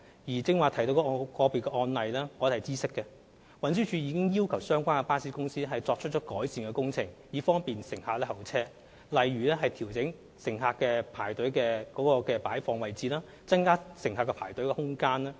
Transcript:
至於剛才提到的個別案例，我們已經知悉並要求相關巴士公司作出改善，以方便乘客候車，例如調整乘客的排隊位置，增加排隊空間。